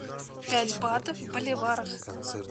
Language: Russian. пять батов в боливарах